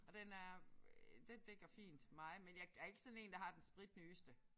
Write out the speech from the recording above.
Og den er øh den dækker fint mig men jeg er ikke sådan én der har den spritnyeste